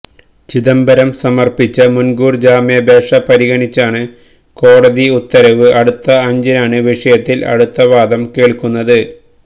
ചിദംബരം സമര്പ്പിച്ച മുന്കൂര് ജാമ്യാപേക്ഷ പരിഗണിച്ചാണ് കോടതി ഉത്തരവ് അടുത്ത അഞ്ചിനാണ് വിഷയത്തില് അടുത്തവാദം കേള്ക്കുന്നത്